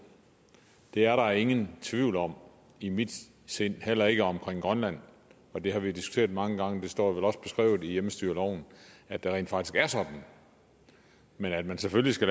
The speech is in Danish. det er der ingen tvivl om i mit sind heller ikke omkring grønland det har vi diskuteret mange gange og det står vel også beskrevet i hjemmestyreloven at det rent faktisk er sådan men at man selvfølgelig skal